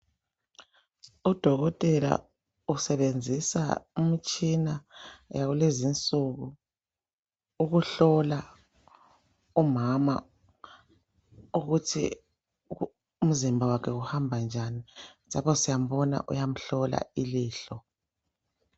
Udokotela usebenzisa umtshina yakulezinsuku ukuhlola umama ukuthi umzimba wakhe uhamba njani , lapha siyambona uyamhlola ilihlo.